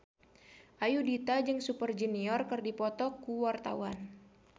Ayudhita jeung Super Junior keur dipoto ku wartawan